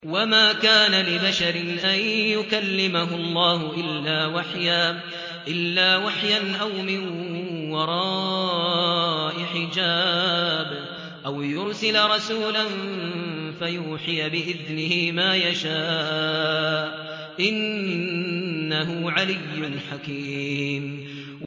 ۞ وَمَا كَانَ لِبَشَرٍ أَن يُكَلِّمَهُ اللَّهُ إِلَّا وَحْيًا أَوْ مِن وَرَاءِ حِجَابٍ أَوْ يُرْسِلَ رَسُولًا فَيُوحِيَ بِإِذْنِهِ مَا يَشَاءُ ۚ إِنَّهُ عَلِيٌّ حَكِيمٌ